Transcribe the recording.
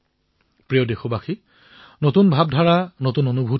মোৰ মৰমৰ দেশবাসীসকল আমাৰ এই যাত্ৰা আজি আৰম্ভ হৈছে